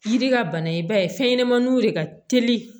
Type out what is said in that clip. Yiri ka bana ye i b'a ye fɛnɲɛnɛmaninw de ka teli